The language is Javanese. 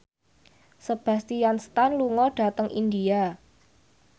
Sebastian Stan lunga dhateng India